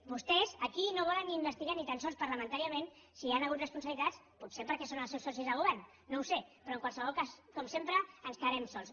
vostès aquí no volen investigar ni tan sols parlamentàriament si hi ha hagut responsabilitats potser perquè són els seus socis de govern no ho sé però en qualsevol cas com sempre ens quedarem sols